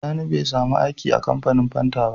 Sani be samu aiki a kamfanin fanta ba